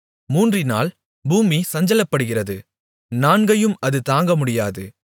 மூன்றினால் பூமி சஞ்சலப்படுகிறது நான்கையும் அது தாங்கமுடியாது